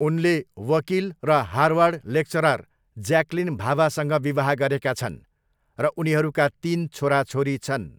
उनले वकिल र हार्वर्ड लेक्चरर ज्याकलिन भाभासँग विवाह गरेका छन्, र उनीहरूका तिन छोराछोरी छन्।